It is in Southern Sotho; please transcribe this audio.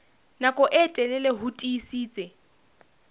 nako e telele ho tiisitse